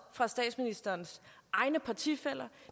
fra statsministerens egne partifæller